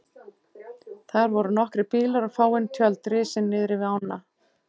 Þar voru nokkrir bílar og fáein tjöld risin niðri við ána.